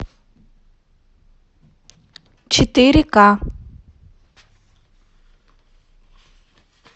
четыре ка